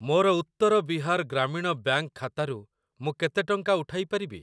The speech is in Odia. ମୋର ଉତ୍ତର ବିହାର ଗ୍ରାମୀଣ ବ୍ୟାଙ୍କ୍‌ ଖାତାରୁ ମୁଁ କେତେ ଟଙ୍କା ଉଠାଇ ପାରିବି?